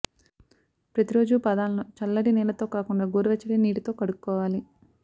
ప్రతి రోజు పాదాలను చల్లటి నీళ్లతో కాకుండా గోరువెచ్చటి నీటితో కడుక్కోవాలి